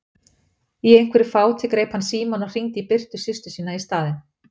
Í einhverju fáti greip hann símann og hringdi í Birtu systur sína í staðinn.